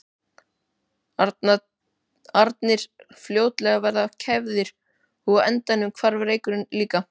arnir fljótlega verið kæfðir og á endanum hvarf reykurinn líka.